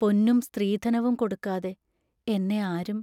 പൊന്നും സ്ത്രീധനവും കൊടുക്കാതെ എന്നെ ആരും